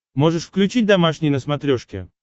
можешь включить домашний на смотрешке